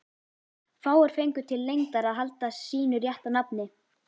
Fáir fengu til lengdar að halda sínu rétta nafni.